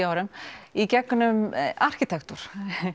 árum í gegnum arkitektúr